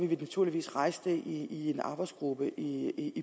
vi naturligvis rejse det i en arbejdsgruppe i